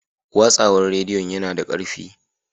Watsawar rediyo yana da ƙarfi.